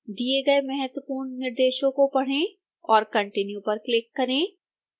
दिए गए महत्वपूर्ण निर्देशों को पढ़ें और continue पर क्लिक करें